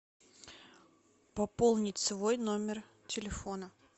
пополнить свой номер телефона